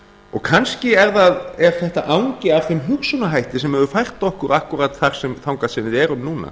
og kannski er þetta angi af þeim hugsunarhætti sem hefur fært okkur akkúrat þangað sem við erum núna